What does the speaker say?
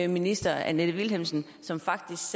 minister annette vilhelmsen som faktisk